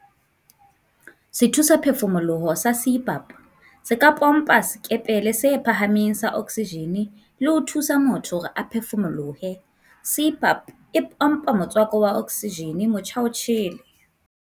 Sethusaphefu-moloho sa CPAP se ka pompa sekepele se phahameng sa oksijene e le ho thusa motho hore a phefumolohe. CPAP e pompa motswako wa oksijene motjhaotjhele.